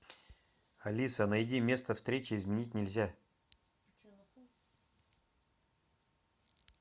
алиса найди место встречи изменить нельзя